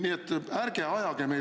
See ei ole kooskõlas.